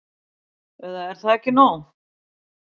Eða er það ekki nóg?